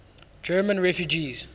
german refugees